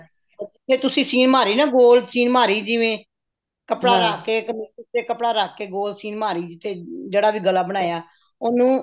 ਫ਼ੇਰ ਤੁਸੀਂ ਸੀਨ ਮਾਰੀ ਨਾ ਗੋਲ ਸੀਨ ਮਾਰੀ ਜਿਵੇਂ ਕੱਪੜਾ ਰੱਖ ਕੇ ਤੇ ਉੱਤੇ ਕੱਪੜਾ ਰੱਖ ਕੇ ਉੱਪਰੋਂ ਸੀਨ ਮਾਰੀ ਜਿਹੜਾ ਵੀ ਗਲਾ ਬਣਾਇਆ